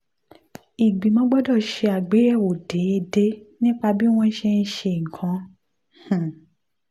um ìgbìmọ̀ gbọ́dọ̀ ṣe àgbéyẹ̀wò déédéé nípa bí wọ́n ṣe ń ṣe nǹkan. um